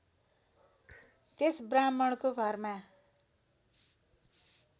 त्यस ब्राह्मणको घरमा